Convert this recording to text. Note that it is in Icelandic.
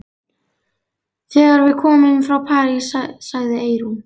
Þegar við komum frá París, sagði Eyrún.